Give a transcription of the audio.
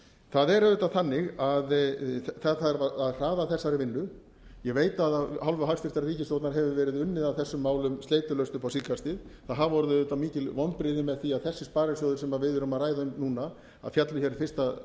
það er auðvitað þannig að það þarf að hraða þessari vinnu ég veit að af hálfu hæstvirtrar ríkisstjórnar hefur verið unnið að þessum málum sleitulaust upp á síðkastið það hafa orðið auðvitað mikil vonbrigði með því að þessir sparisjóðir sem við erum að ræða um núna féllu hér